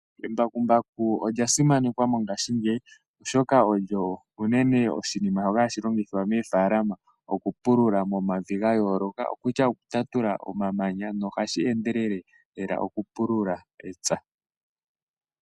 Embakumbaku olya simanekwa mongashingeyi oshoka olyo unene oshinima shoka hashi longithwa moofaalama , okupulula momavi gayooloka, okokutya okutatula omamanya nohashi endelele lela okupulula epya.